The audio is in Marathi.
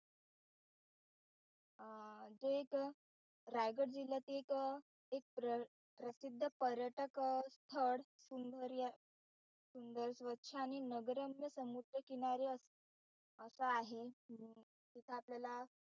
जे एक रायगड जिल्ह्यातील एक प्रसिद्ध पर्यटक स्थळ सुंदर्य सुंदर स्वच्छ आणि नगरम्य समुद्रकिनारी असे आहे. हम्म जिथं आपल्याला